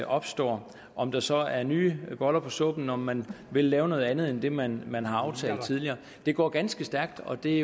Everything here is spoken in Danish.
opstår om der så er nye boller på suppen om man vil lave noget andet end det man man har aftalt tidligere det går ganske stærkt og det